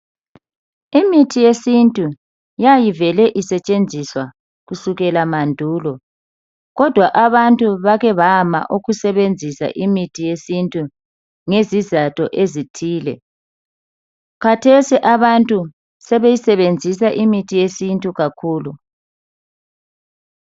Imithi yesintu yayivele isetshenziswa kusukela mandulo kodwa abantu bake bama ukusebenzisa imithi yesintu ngezizatho ezithile khathesi abantu sebeyisebenzisa imithi yesintu kakhulu.